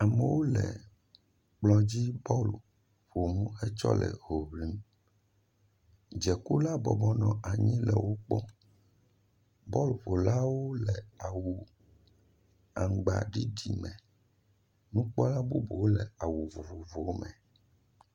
Amewo le kplɔ dzi bɔlu ƒom hetsɔ le hoŋlim, dzekula bɔbɔnɔ anyi le wo kpɔm, bɔluƒolawo le awu aŋgbaɖiɖi me, nukpɔla bubuwo le awu vovovowo me.